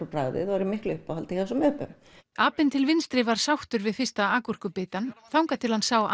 á bragðið og voru í miklu uppáhaldi hjá þessum öpum apinn til vinstri var sáttur við fyrsta a gúrkubitann þangað til hann sá